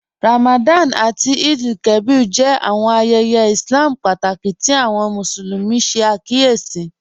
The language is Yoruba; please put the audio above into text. Ramadan àtí Eid-el-Kabir jẹ́ àwọn ayéyé Ìslám pátákí tí àwọn Musulumi ṣẹ̀ àkíyèsí